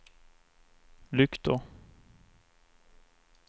lyktor